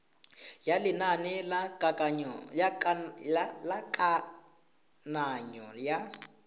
ya lenane la kananyo ya